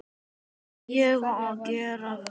Á ég að gera flugu?